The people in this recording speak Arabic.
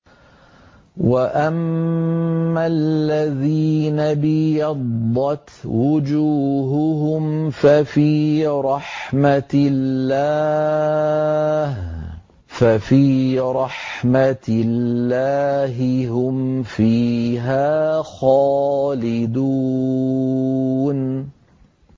وَأَمَّا الَّذِينَ ابْيَضَّتْ وُجُوهُهُمْ فَفِي رَحْمَةِ اللَّهِ هُمْ فِيهَا خَالِدُونَ